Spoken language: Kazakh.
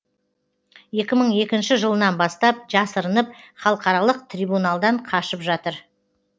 екі мың екінші жылынан бастап жасырынып халықаралық трибуналдан қашып жатыр